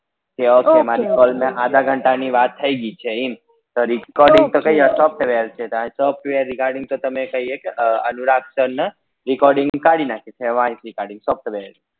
call માં આધા ઘંટા ની થઇ ગઈ છે એમ તો recording તો software કરી અનુરાગ sir ને recording